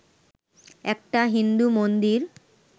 একটা হিন্দু মন্দির